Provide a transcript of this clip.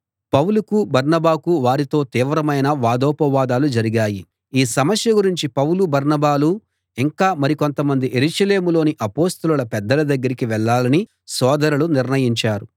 పౌలుకు బర్నబాకు వారితో తీవ్రమైన వాదోపవాదాలు జరిగాయి ఈ సమస్య గురించి పౌలు బర్నబాలు ఇంకా మరి కొంతమంది యెరూషలేములోని అపొస్తలుల పెద్దల దగ్గరికి వెళ్ళాలని సోదరులు నిశ్చయించారు